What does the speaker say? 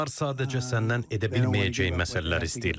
Onlar sadəcə səndən edə bilməyəcəyi məsələlər istəyirlər.